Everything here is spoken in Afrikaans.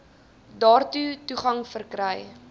daartoe toegang verkry